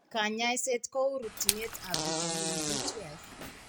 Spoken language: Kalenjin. Kanyaiset kou rutchinet ab vitamin B12